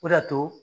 O de y'a to